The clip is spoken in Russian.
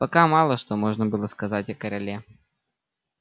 пока мало что можно было сказать о короле